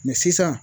sisan